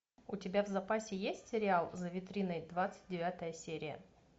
у тебя в запасе есть сериал за витриной двадцать девятая серия